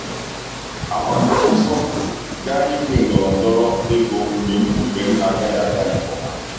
A gbara m ọsọ gaa Igwe ndọrọ ndọrọ ego mgbe mbufe m agaghị aga nke ọma.